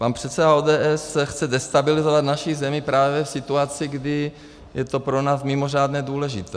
Pan předseda ODS chce destabilizovat naši zemi právě v situaci, kdy je to pro nás mimořádně důležité.